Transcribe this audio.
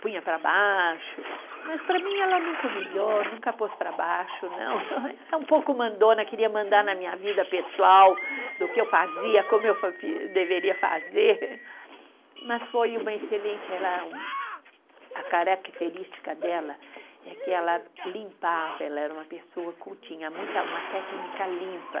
Punha para baixo, mas para mim ela nunca humilhou, nunca pôs para baixo, não, era um pouco mandona, queria mandar na minha vida pessoal do que eu fazia, como eu fi fi, deveria fazer, mas foi uma excelente ela um, a característica dela é que ela limpava, ela era uma pessoa que tinha uma técnica limpa,